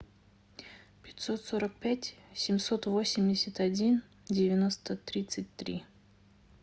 пятьсот сорок пять семьсот восемьдесят один девяносто тридцать три